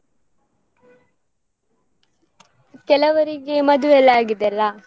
ಕೆಲವರಿಗೆ ಮದುವೆಯೆಲ್ಲಾ ಆಗಿದೆಲ್ಲ?